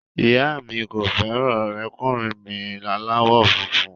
Ìyá mi kò fẹ́ràn ọ̀rẹ́kùnrin mi aláwọ̀ funfun